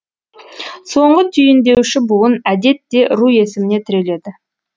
соңғы түйіндеуші буын әдетте ру есіміне тіреледі